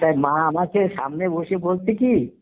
তাই মা আমাকে সামনে বসিয়ে বলছে কি